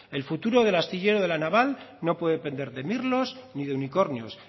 el futuro del astillero de la naval no puede pender de mirlos ni de unicornios